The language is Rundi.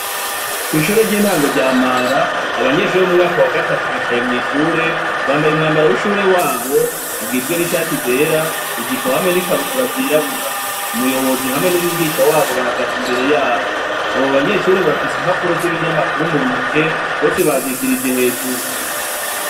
Kw'ishure ry'intango ryamara, abanyeshure mu mwaka wa gatatu bicaye mw'ishure bambaye umwambaro w'ishure wabo ugizwe n'ishati zera ejipo hamwe n'ikabuto uravyirabura, umuyobozi hamwe n'umwigisha wabo bahagaze imbere yabo, abo banyeshure bafise impapuro z'ibinyamakuru mu ntoke bose bazikirije hejuru.